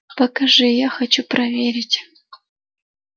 покажи я хочу проверить